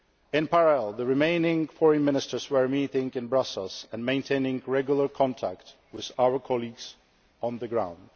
In parallel, the remaining Foreign Ministers were meeting in Brussels and maintaining regular contact with our colleagues on the ground.